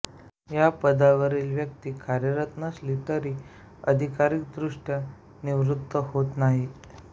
या पदावरील व्यक्ती कार्यरत नसली तरी अधिकारीक दृष्ट्या निवृत होत नाही